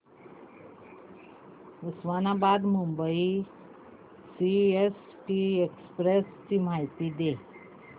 Osmanabad Mumbai CST express ची माहिती दे